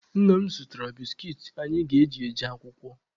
Nna m zụtara biskit anyị ga-eji eje akwụkwọ.